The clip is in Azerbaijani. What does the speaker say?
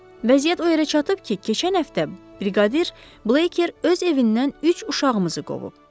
Vəziyyət o yerə çatıb ki, keçən həftə briqadir Bleker öz evindən üç uşağımızı qovub.